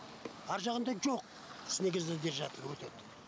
аржағында жоқ снегозадержатель өтед